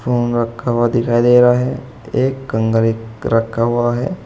Phone रखा हुआ दिखाई दे रहा है एक कंघा रखा हुआ है।